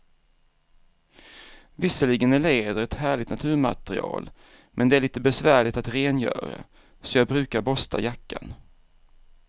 Visserligen är läder ett härligt naturmaterial, men det är lite besvärligt att rengöra, så jag brukar borsta jackan.